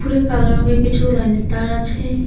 এই কালো রংয়ের কিছু লাইনের তার আছে।